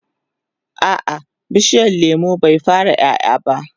a'a bishiyar lemun bai fara ƴaƴa ba